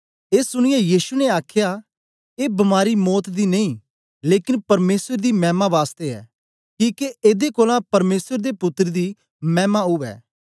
ए सुनीयै यीशु ने आखया ए बीमारी मौत दी नेई लेकन परमेसर दी मैमा बासतै ऐ कि एदे कोलां परमेसर दे पुत्तर दी मैमा उवै